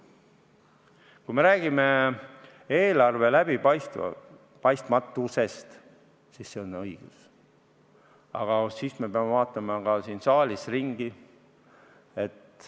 Kui me räägime eelarve läbipaistmatusest, siis see on õige, aga me peame vaatama ka siin saalis ringi.